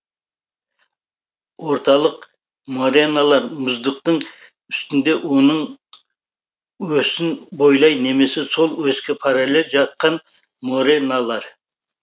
орталық мореналар мұздықтың үстінде оның осін бойлай немесе сол оське параллель жатқан мореналар